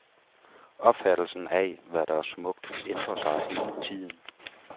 Opfattelsen af, hvad der er smukt, ændrer sig hele tiden.